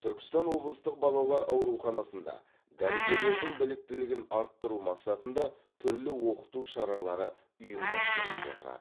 түркістан облыстық балалар ауруханасында дәрігерлердің біліктілігін арттыру мақсатында түрлі оқыту шаралары ұйымдастырылып отырады